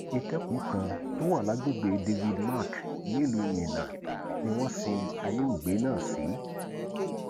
ìtẹkùú kan tó wà lágbègbè david mark nílùú minna ni wọn ṣí olóògbé náà sí